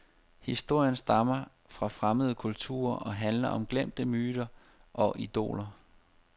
Historierne stammer fra fremmede kulturer og handler om glemte myter og idoler.